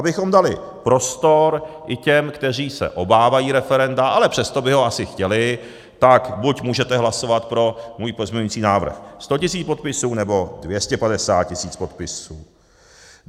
Abychom dali prostor i těm, kteří se obávají referenda, ale přesto by ho asi chtěli, tak buď můžete hlasovat pro můj pozměňovací návrh 100 tisíc podpisů, nebo 250 tisíc podpisů.